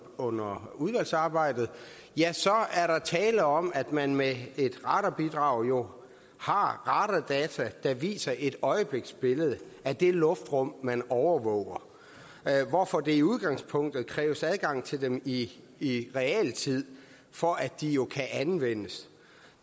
under udvalgsarbejdet så er der jo tale om at man med et radarbidrag har radardata der viser et øjebliksbillede af det luftrum man overvåger hvorfor der i udgangspunktet kræves adgang til dem i i realtid for at de kan anvendes